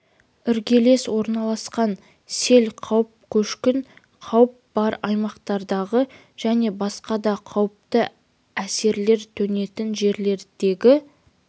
іргелес орналасқан сел қауіп көшкін қауіп бар аймақтардағы және басқа да қауіпті әсерлер төнетін жерлердегі